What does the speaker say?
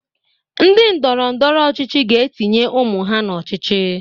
Ndị ndọrọ ndọrọ ọchịchị ga-etinye ụmụ ha n'ọchịchị.